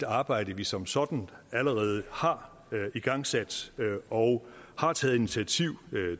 arbejde vi som sådan allerede har igangsat og har taget initiativ